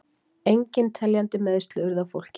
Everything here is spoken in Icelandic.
Engin teljandi meiðsli urðu á fólki